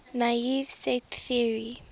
naive set theory